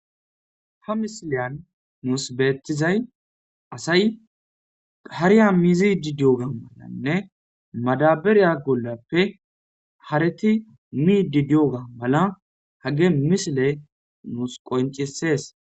Ha misileyan nuus beetizay asay gahariya mizidi dioga malanne madaberiya golappe hareti miidi diyoga mala hage misile nuus qoncisees